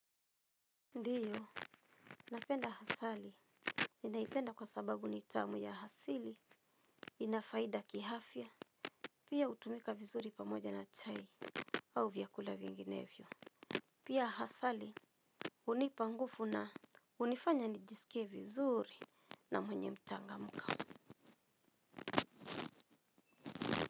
Ndio, napenda asali ninaipenda kwa sababu ni tamu, ya asili ina faida kiafya. Pia hutumika vizuri pamoja na chai au vyakula vinginevyo. Pia asali hunipa nguvu na hunifanya nijisikie vizuri na mwenye mchangamko.